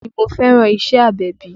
Bẹ́ẹ̀ni mo fẹ́ràn iṣẹ́ agbẹ̀bí